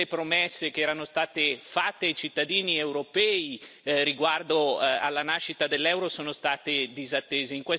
Tutte le promesse che erano state fatte ai cittadini europei riguardo alla nascita dell'euro sono state disattese.